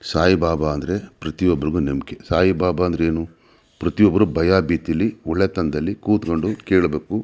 ಸಾಯಿಬಾಬ ಅಂದ್ರೆ ಪ್ರತಿಒಬ್ರಿಗೆ ನಂಬಿಕೆ ಸಾಯಿಬಾಬ ಅಂದ್ರೆ ಏನು ಪ್ರತಿಯೊಬ್ಬರು ಭಯ ಭೀತಿಯಲ್ಲಿ ಒಳ್ಳೆತನದಲ್ಲಿ ಕೂತ್ಕೊಂಡು ಕೇಳಬೇಕು --